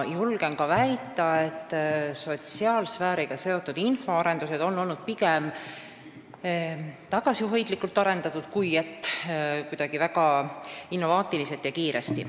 Julgen ka väita, et sotsiaalsfääriga seotud infosüsteeme on pigem tagasihoidlikult arendatud, mitte väga innovaatiliselt ega kiiresti.